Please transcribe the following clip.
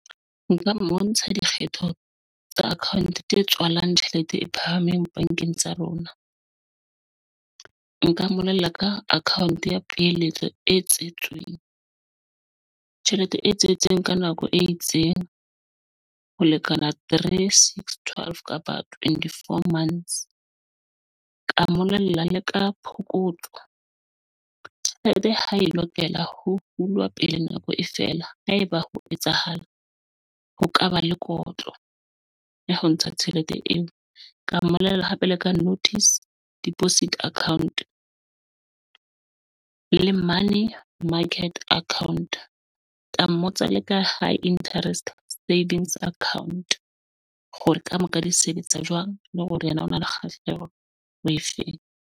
Nka mo bontsha dikgetho tsa account tse tswalang tjhelete e phahameng bankeng tsa rona. Nka mmolella ka account ya peheletso e tjhelete e tswetseng ka nako e itseng ho lekana three, six, twelve kapa twenty four months ka mmolella le ka phokotso. Tjhelete ha e lokela ho hulwa pele nako e fela. Ha eba ho etsahala, ho kaba le kotlo ya ho ntsha tjhelete eo ka mmollela hape le ka notice deposit account le money market account ka mmotsa le ka high interest savings account hore ka mo ka di sebetsa jwang le hore yena o na le kgahleho Wi-Fi.